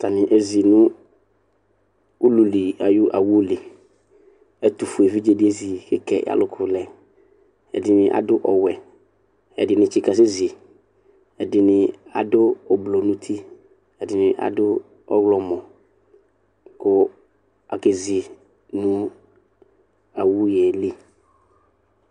Atanɩ ezi nʋ ulu li ayʋ awu li Ɛtʋfue evidze dɩ ezi kʋ eke alʋkʋ lɛ Ɛdɩnɩ adʋ ɔwɛ Ɛdɩnɩ tsɩkasɛzi Ɛdɩnɩ adʋ oblo nʋ uti, ɛdɩnɩ adʋ ɔɣlɔmɔ kʋ akezi nʋ awu yɛ li